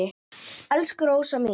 Elsku Rósa mín.